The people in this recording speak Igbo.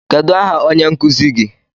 Kedụ aha onye nkụzi gi?